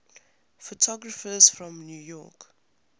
photographers from new york